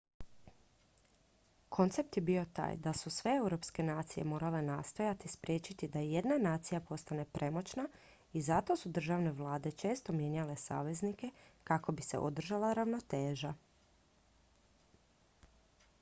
koncept je bio taj da su sve europske nacije morale nastojati spriječiti da jedna nacija postane premoćna i zato su državne vlade često mijenjale saveznike kako bi se održala ravnoteža